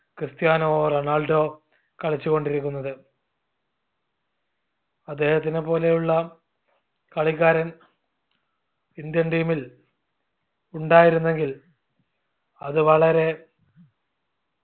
Cristiano Ronaldo കളിച്ചു കൊണ്ടിരിക്കുന്നത് അദ്ദേഹത്തിനെപോലെയുള്ള കളിക്കാരൻ indian team ൽ ഉണ്ടായിരുന്നെങ്കിൽ അത് വളരെ